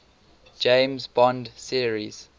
james bond series